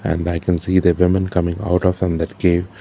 and i can see the women coming out of from that cave.